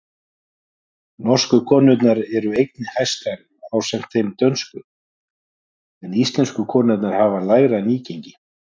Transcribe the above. Norsku konurnar eru einnig hæstar ásamt þeim dönsku, en íslensku konurnar hafa lægra nýgengi.